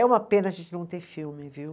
É uma pena a gente não ter filme, viu?